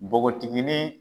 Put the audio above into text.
Npogotigini.